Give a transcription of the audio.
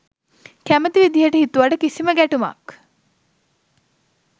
කැමති විදිහට හිතුවට කිසිම ගැටුමක්